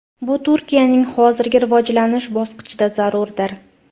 Bu Turkiyaning hozirgi rivojlanish bosqichida zarurdir.